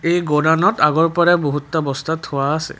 এই গুদানত আগৰ পৰাই বহুতটা বস্তা থোৱা আছে।